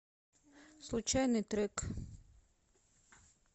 случайный трек